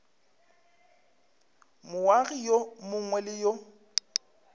moagi yo mongwe le yo